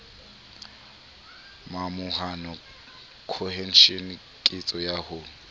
momahano cohesion ketso ya ho